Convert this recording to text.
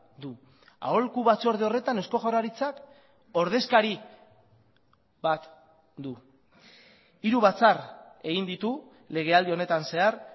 du aholku batzorde horretan eusko jaurlaritzak ordezkari bat du hiru batzar egin ditu legealdi honetan zehar